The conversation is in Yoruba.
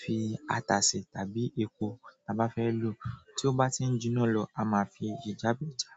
fi ata si àbí epo ta ba fe lo tí ó bá ti ń jiná lọ a máa fi ìjabe já.